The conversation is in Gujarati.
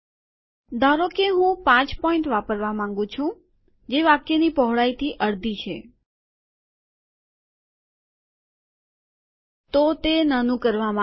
ધારો કે હું 5 પોઈન્ટ વાપરવા માંગું છું જે વાક્યની પહોળાઈથી અડધી છે તો તે નાનું કરવામાં આવેલ છે